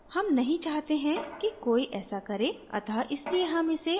हम नहीं चाहते हैं कि कोई ऐसा करे अत: इसलिए हम इसे अनचैक ही छोड देंगे